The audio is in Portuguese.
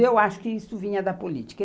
Eu acho que isso vinha da política.